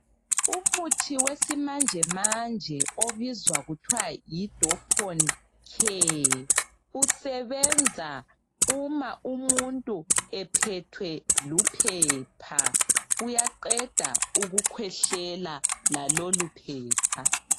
Umuthi wesimanje manje obizwa kuthiwa yidoponcare usebenza uma umuntu ephethwe luphepha, kuyaqeda ukukhwehlela laloluphepha.